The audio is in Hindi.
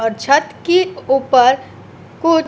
और छत की ऊपर कुछ --